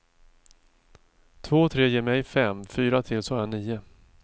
Två och tre ger mej fem, fyra till så har jag nio.